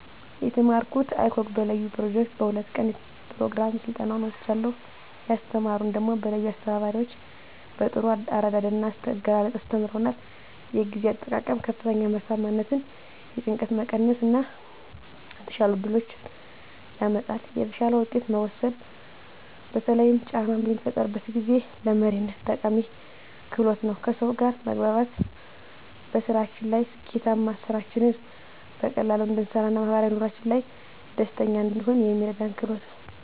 የተማረኩት icog በለዩ ኘሮጀክት በ2 ቀን ኘሮግራም ስልጠናዉን ወስጃለሁ። ያስተማሩን ደሞ በለዩ አስተባባሪዎች በጥሩ አረዳድ ና አገላለፅ አስተምረዉናል። የጊዜ አጠቃቀም ከፍተኛ ምርታማነትን፣ የጭንቀት መቀነስ እና የተሻሉ እድሎችን ያመጣል። የተሻለ ዉሳኔ መወሰን በተለይም ጫና በሚፈጠርበት ጊዜ፣ ለመሪነት ጠቃሚ ክህሎት ነዉ። ከሰዉ ጋር መግባባት በስራችን ላይ ስኬታማ፣ ስራችንን በቀላሉ እንድንሰራ ና ማህበራዊ ኑሮአችን ላይ ደስተኛ እንድንሆን የሚረዳን ክህሎት ነዉ።